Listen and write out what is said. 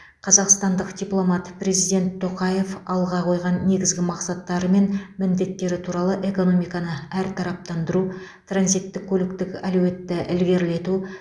қазақстандық дипломат президент тоқаев алға қойған негізгі мақсаттары мен міндеттері туралы экономиканы әртараптандыру транзиттік көліктік әлеуетті ілгерілету